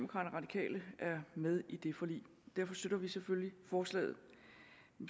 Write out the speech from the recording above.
radikale er med i det forlig derfor støtter vi selvfølgelig forslaget